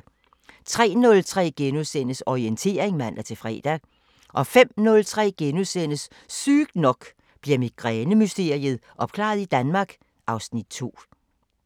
03:03: Orientering *(man-fre) 05:03: Sygt nok: Bliver migræne-mysteriet opklaret i Danmark? (Afs. 2)*